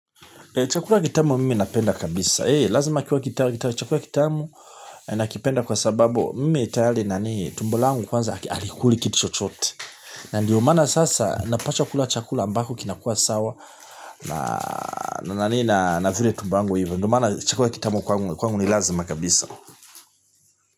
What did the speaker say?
Chakula kitamu mimi napenda kabisa. He, lazima kiwa kitamu na kipenda kwa sababu mimi tayari nani tumbo langu kwanza halikuli kitu chochote. Ndiyo maana sasa napacha kula chakula ambako kinakua sawa na nani na vile tumbongu hivo. Ndiyo mana chakula kitamu kwangu ni lazima kabisa.